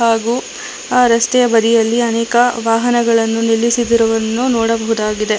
ಹಾಗು ಆ ರಸ್ತೆಯ ಬದಿಯಲ್ಲಿ ಅನೇಕ ವಾಹನಗಳನ್ನು ನಿಲ್ಲಿಸಿದುರನ್ನು ನೋಡಬಹುದಾಗಿದೆ.